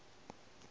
ka ge e le go